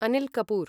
Anil Kapoor